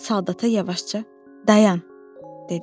Soldata yavaşca "Dayan" dedim.